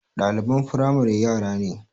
Ɗaliban firamare yara ne